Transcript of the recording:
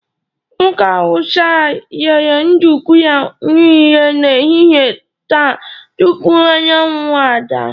Nwoke Hausa a rere nduku ya niile n'ehihie taa tupu anyanwụ ada.